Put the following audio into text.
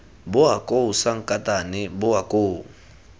bowa koo sankatane bowa koo